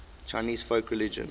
chinese folk religion